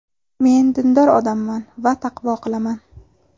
Men dindor odamman va taqvo qilaman.